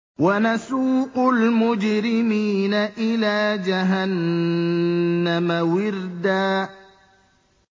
وَنَسُوقُ الْمُجْرِمِينَ إِلَىٰ جَهَنَّمَ وِرْدًا